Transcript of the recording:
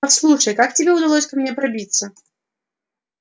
послушай как тебе удалось ко мне пробиться